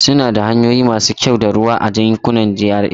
Suna da hanyoyi masu kyau da ruwa a yankunan GRA.